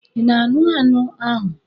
Ị na-aṅụ anụ ahụ?